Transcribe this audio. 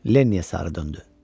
Lenni sarı döndü.